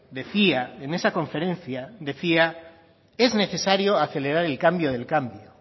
decía en esa conferencia decía es necesario acelerar el cambio del cambio